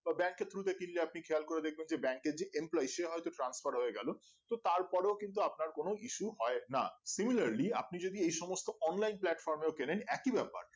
তো bank এর through তে কিলনে আপনি খেয়াল করে দেখবেন যে bank যে implosion সে হয়তো tranceforme হয়ে গেলো তো তারপরেও কিন্তু আপনার কোনো ইসু হয় না hiuliarly আপনি যদি এই সমস্ত online plarfrom এও কিনেন একই ব্যাপার